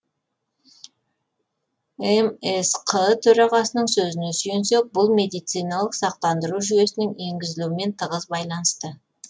мсқ төрағасының сөзіне сүйенсек бұл медициналық сақтандыру жүйесінің енгізілуімен тығыз байланысты